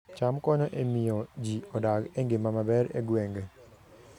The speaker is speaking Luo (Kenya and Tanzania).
cham konyo e miyo ji odag e ngima maber e gwenge